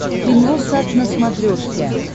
киносат на смотрешке